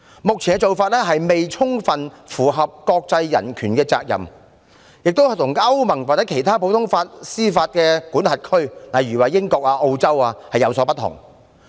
目前的做法，未充分符合國際人權法的要求，亦跟歐盟或其他普通法司法管轄區，例如英國和澳洲等的做法有所不同。